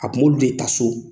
A kun bɛ olu de taa so.